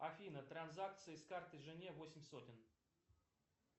афина транзакция с карты жене восемь сотен